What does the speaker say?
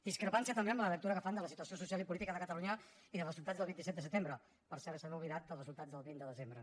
discrepància també amb la lectura que fan de la situació social i política de catalunya i dels resultats del vint set de setembre per cert s’han oblidat dels resultats del vint de desembre